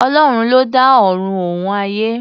Ọlọ́run ló dá Ọ̀run òun ayé.